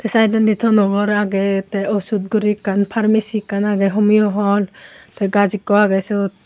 Sydondi tono gor age te ashud guri ekkan Pharmacy ekkan age homeo Hall te gaaj ekko age siot.